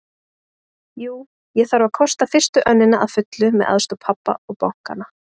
Jú, ég þarf að kosta fyrstu önnina að fullu með aðstoð pabba og bankanna.